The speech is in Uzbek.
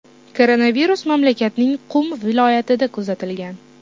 Koronavirus mamlakatning Qum viloyatida kuzatilgan.